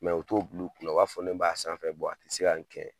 u t'o bul'u kun na, u b'a fɔ ne b'a sanfɛ, a ti se ka nin kɛ